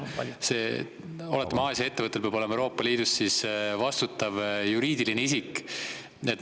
Ma saan aru, et Aasia ettevõttel – oletame – peab olema Euroopa Liidus vastutav juriidiline isik.